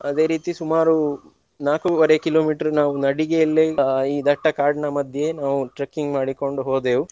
ಅದೇ ರೀತಿ ಸುಮಾರು ನಾಕುವರೆ kilometer ನಾವು ನಡಿಗೆಯಲ್ಲೇ ಅಹ್ ಈ ದಟ್ಟ ಕಾಡಿನ ಮಧ್ಯೆಯೇ ನಾವು trekking ಮಾಡಿಕೊಂಡು ಹೋದೆವು.